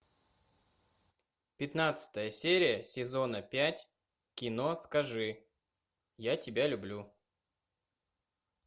пятнадцатая серия сезона пять кино скажи я тебя люблю